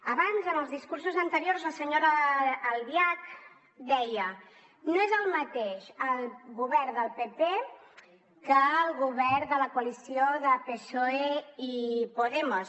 abans en els discursos anteriors la senyora albiach deia no és el mateix el govern del pp que el govern de la coalició de psoe i podemos